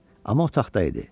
Amma otaqda idi.